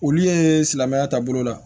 Olu ye silamɛya taabolo la